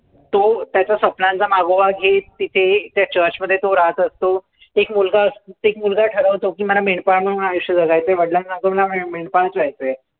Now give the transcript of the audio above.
तो त्याच्या स्वप्नांचा मागोवा घेत, तिथे त्या church मध्ये तो रहात असतो. एक मुलगा अ एक मुलगा ठरवतो, मला मेंढपाळ म्हणून आयुष्य जगायचंय. वडिलांना पण मेंढपाळच व्हायचंय.